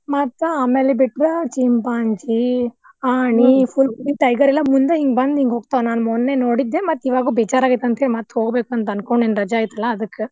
ಮತ್ತ್ ಆಮೇಲ್ ಬಿಟ್ರ ಚಿಂಪಾಂಜಿ, ಆನೆ full tiger ಎಲ್ಲಾ ಮುಂದ್ ಹಿಂಗ ಬಂದ್ ಹಿಂಗ್ ಹೋಗ್ತಾವ ನಾನ್ ಮೊನ್ನೆ ನೋಡಿದ್ದ್ ಮತ್ತ್ ಇವಾಗ ಬೇಜಾರ್ ಆಗೇತಂತ ಮತ್ ಹೋಗ್ಬೇಕಂತ ಅನ್ಕೊಂಡೇನಿ ರಜಾ ಐತ್ಲಾ ಅದಕ್ಕ್.